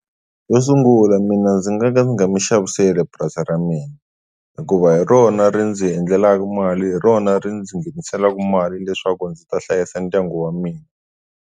Yo sungula mina ndzi nga ka ndzi nga mi xaviseli purasi ra mina hikuva hi rona ri ndzi endlelaku mali hi rona ri ndzi nghenisela mali leswaku ndzi ta hlayisa ndyangu wa mina.